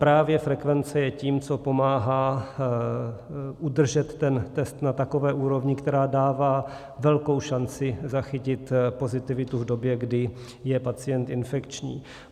Právě frekvence je tím, co pomáhá udržet ten test na takové úrovni, která dává velkou šanci zachytit pozitivitu v době, kdy je pacient infekční.